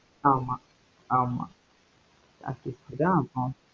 ஆமாம் ஆமாம்